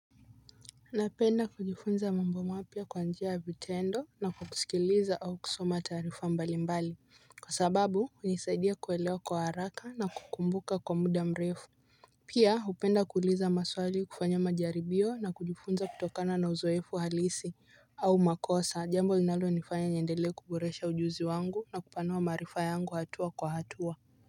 Napenda kujifunza mambo mapya kwa njia ya vitendo na kusikiliza au kusoma taarifa mbali mbali. Kwa sababu hunisaidia kuelewa kwa haraka na kukumbuka kwa muda mrefu. Pia hupenda kuuliza maswali kufanya majaribio na kujifunza kutokana na uzoefu halisi. Au makosa jambo linalonifanya niendele kuboresha ujuzi wangu na kupanoa marifa yangu hatua kwa hatua.